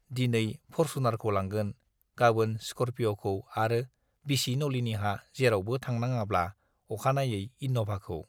दिनै फर्सुनारखौ लांगोन, गाबोन स्करपिअ'खौ आरो बिसि नलिनीहा जेरावबो थांनाङाब्ला अखानायै इन'भाखौ।